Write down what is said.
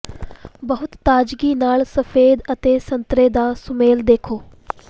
ਬਹੁਤ ਤਾਜ਼ਗੀ ਨਾਲ ਸਫੈਦ ਅਤੇ ਸੰਤਰੇ ਦਾ ਸੁਮੇਲ ਦੇਖੋ